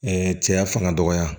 Ɛɛ cɛya fanga dɔgɔya